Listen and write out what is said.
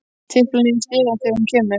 Tipla niður stigann þegar hún kemur.